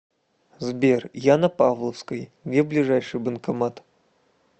сбер я на павловской где ближайший банкомат